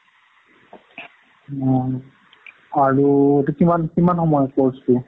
হুম। আৰু এইটো কিমান সময় course টো?